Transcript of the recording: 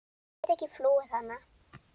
Ég get ekki flúið hann.